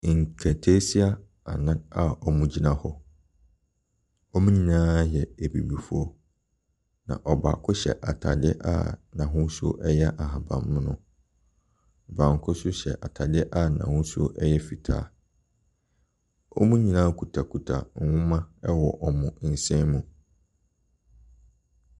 Nkataasia anan a wɔgyina hɔ. Hɔn nyinaa yɛ abibifo. Na ɔbaako hyɛ ataadeɛ a n’ahosuo ɛyɛ ahabanmono. Baako so hyɛ ataadeɛ a n’ahosuo ɛyɛ fitaa. Wɔn nyinaa ktiakita wɔn mma ɛwɔ wɔn nsa mu.